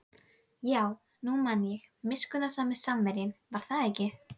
Já, nú man ég: miskunnsami Samverjinn, var það ekki?